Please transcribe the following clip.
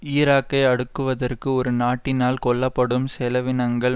ஈராக்கை அடக்குவதற்கு ஒரு நாட்டினால் கொள்ளப்படும் செலவினங்கள்